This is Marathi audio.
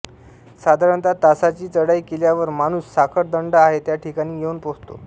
साधारणता तासाची चढाई केल्यावर माणूस साखळदंड आहे त्या ठिकाणी येऊन पोहचतो